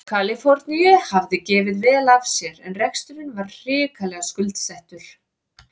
Kaliforníu hafði gefið vel af sér en reksturinn var hrikalega skuldsettur.